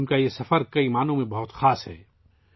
ان کا یہ سفر کئی لحاظ سے بہت خاص ہے